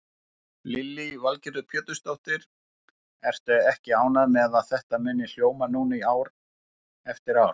Lillý Valgerður Pétursdóttir: Ertu ekki ánægð með að þetta muni hljóma núna ár eftir ár?